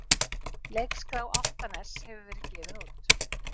Leikskrá Álftaness hefur verið gefin út.